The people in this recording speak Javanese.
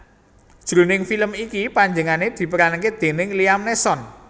Jroning film iki panjenengané diperanké déning Liam Neeson